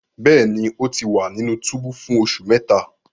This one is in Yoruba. Bẹẹni, O ti wa ninu tubu fun oṣu mẹta